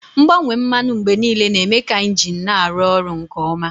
Mgbanwe mmanụ mgbe niile na-eme ka injin na-arụ ọrụ nke ọma.